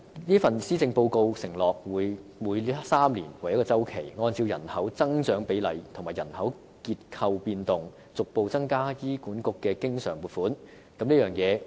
這份施政報告承諾每3年為一周期，按照人口增長比例和人口結構變動，逐步遞增給醫管局的經常撥款。